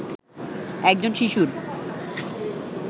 একজন শিশুর